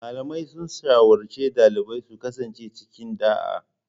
Malamai sun shawarci dalibai su kasance cikin ɗa'a